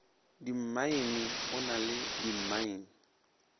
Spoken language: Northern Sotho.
dimmaene o na le dimmaene